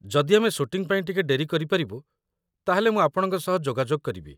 ଯଦି ଆମେ ଶୁଟିଂ ପାଇଁ ଟିକେ ଡେରି କରିପାରିବୁ, ତା'ହେଲେ ମୁଁ ଆପଣଙ୍କ ସହ ଯୋଗାଯୋଗ କରିବି ।